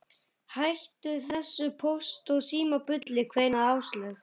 Hættu þessu Póst og Síma bulli kveinaði Áslaug.